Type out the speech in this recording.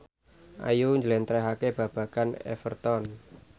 Ayu njlentrehake babagan Everton